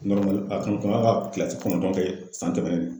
a kun kan ka kilasi kɔnɔntɔn kɛ san tɛmɛnen